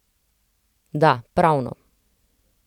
Da, pravno.